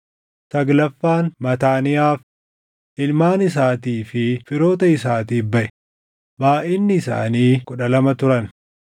saglaffaan Mataaniyaaf, // ilmaan isaatii fi firoota isaatiif baʼe; // baayʼinni isaanii kudha lama turan